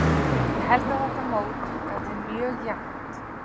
Ég held að þetta mót verði mjög jafnt.